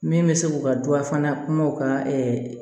Min bɛ se k'u ka du a fana kumaw ka